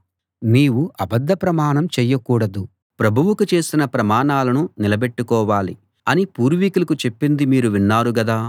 నీవు అబద్ధ ప్రమాణం చేయకూడదు ప్రభువుకు చేసిన ప్రమాణాలను నిలబెట్టుకోవాలి అని పూర్వికులకు చెప్పింది మీరు విన్నారు గదా